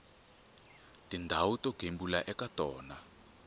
tindhawu to gembula eka tona